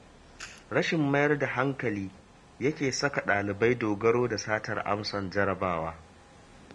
Rashin mayar da hankali yake saka ɗalibai dogaro da satar amsar jarrabawa